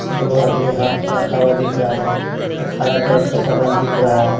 दो आदमी हाथ रखा हुआ दिख रहा है एक हरा कलर का समान दिख रहा है।